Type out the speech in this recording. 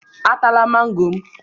Atala mango m!